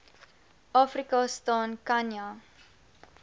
afrika staan khanya